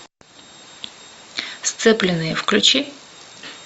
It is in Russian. сцепленные включи